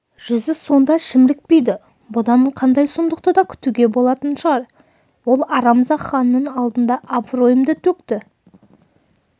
жүзі сонда шімірікпейді бұдан қандай сұмдықты да күтуге болатын шығар ол арамза ханның алдында абыройымды төкті